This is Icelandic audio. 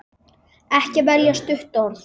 Ekki velja stutt orð.